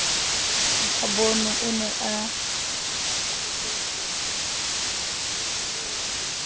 ba bonwe o ne a